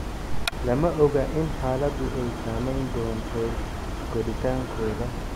Lama oga in xaaladdu ay saameyn doonto koritaankooda.